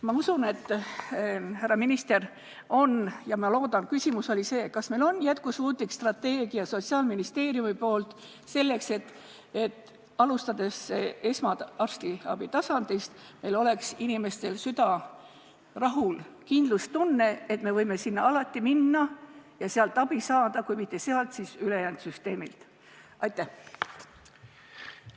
Ma usun ja loodan, et minister vastab meie küsimustele, millest peamine oli see: kas meie Sotsiaalministeeriumil on jätkusuutlik strateegia, selleks et alustades esmatasandi arstiabist oleks meie inimeste süda rahul ja neil oleks kindlustunne, et me võime sinna alati minna ja sealt abi saada, kui aga mitte sealt, siis ülejäänud süsteemilt?